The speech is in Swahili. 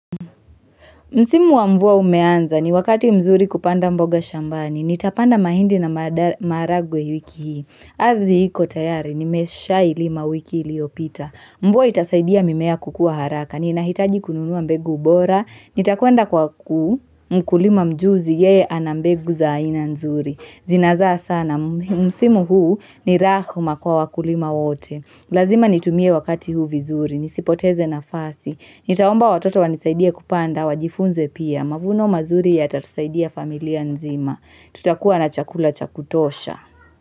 Msimu wa mvua umeanza ni wakati mzuri kupanda mboga shambani. Nitapanda mahindi na maharagwe wiki hii. Azzi iko tayari, nimeshailima wiki iliyopita. Mvua itasaidia mimea kukua haraka. Ninahitaji kununua mbegu bora. Nitakwenda kwa ku, mkulima mjuzi yeye ana mbegu za aina nzuri. Zinazaa sana, msimu huu ni rahma kwa wakulima wote. Lazima nitumie wakati huu vizuri. Nisipoteze na fasi. Nitaomba watoto wanisaidie kupanda wajifunze pia. Mavuno mazuri yatatusaidia familia nzima. Tutakuwa na chakula cha kutosha.